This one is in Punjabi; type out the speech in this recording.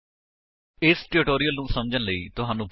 ਜੇਕਰ ਨਹੀਂ ਤਾਂ ਸਬੰਧਤ ਟਿਊਟੋਰਿਅਲ ਲਈ ਸਾਡੀ ਵੇਬਸਾਈਟ ਉੱਤੇ ਜਾਓ